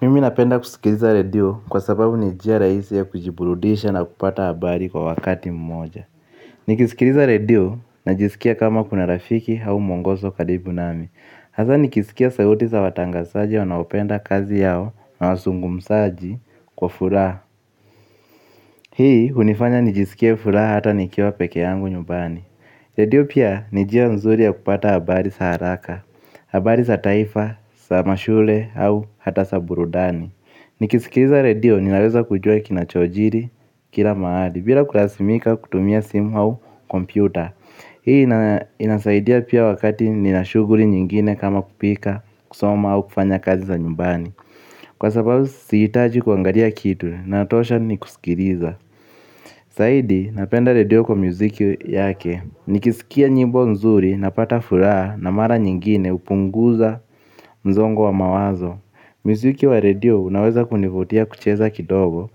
Mimi napenda kusikiliza redio kwa sababu ni njia rahisi ya kujiburudisha na kupata habari kwa wakati mmoja. Nikisikiliza redio najisikia kama kuna rafiki au mwongozo karibu nami. Hasa nikisikia sauti sa watangazaji wanaopenda kazi yao na wazungumzaji kwa furaha. Hii hunifanya nijisikie furaha hata nikiwa peke yangu nyumbani. Redio pia ni njia nzuri ya kupata habari za haraka, habari za taifa, za mashule au hata za burudani. Nikisikiliza redio ninaweza kujua kinachojiri kila mahali. Bila kulazimika kutumia simu au kompyuta. Hii inasaidia pia wakati nina shughuli nyingine kama kupika kusoma au kufanya kazi za nyumbani. Kwa sababu sihitaji kuangalia kitu natosha ni kusikiliza zaidi napenda radio kwa muziki yake. Nikisikia nyimbo nzuri napata furaha na mara nyingine hupunguza msongo wa mawazo. Muziki wa radio unaweza kunivutia kucheza kidogo